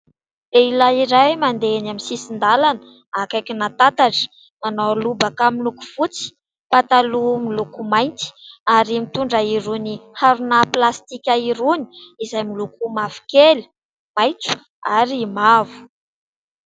Lehihilay iray mandeha eny amin'ny sisin-dalana akaikin'ny tatatra .Manao lobaka miloko fotsy, pataloha miloko mainty, ary mitondra irony harona plastika irony; izay miloko mavokely, maitso ary mavo.